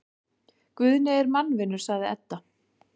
Guðni er mannvinur, sagði Edda.